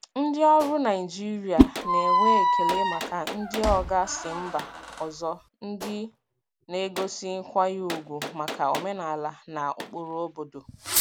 Ndị ọrụ Naịjirịa na-enwe ekele maka ndị oga si mba ọzọ ndị na-egosi nkwanye ùgwù maka omenala na ụkpụrụ obodo.